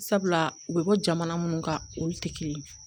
Sabula u bɛ bɔ jamana minnu kan olu tɛ kelen ye